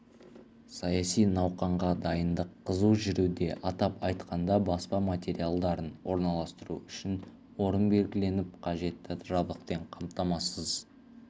саяси науқанға дайындық қызу жүруде атап айтқанда баспа материалдарын орналастыру үшін орын белгіленіп қажетті жабдықпен қамтамасыз